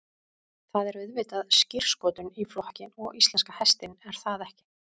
Það er auðvitað skírskotun í flokkinn og íslenska hestinn er það ekki?